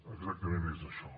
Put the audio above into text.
exactament és això